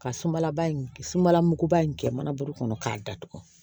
Ka sumalaba in sumala muguba in kɛ manaburu kɔnɔ k'a datugu